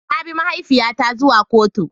Na bi mahaifiyata zuwa kotu.